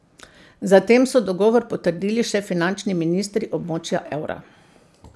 Zatem so dogovor potrdili še finančni ministri območja evra.